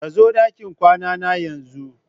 Kazo dakin kwanana yanzu!